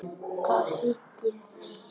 Hvað hryggir þig?